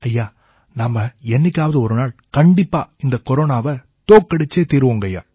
ஐயா நாம என்னைக்காவது ஒரு நாள் கண்டிப்பா இந்தக் கொரோனாவை தோக்கடிச்சே தீருவோங்கய்யா